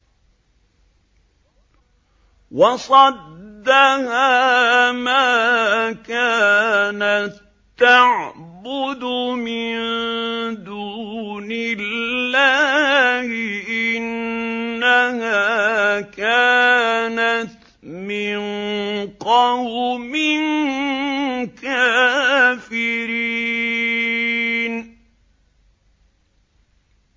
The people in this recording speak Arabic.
وَصَدَّهَا مَا كَانَت تَّعْبُدُ مِن دُونِ اللَّهِ ۖ إِنَّهَا كَانَتْ مِن قَوْمٍ كَافِرِينَ